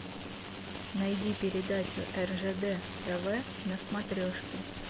найди передачу ржд тв на смотрешке